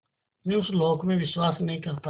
मैं उस लोक में विश्वास नहीं करता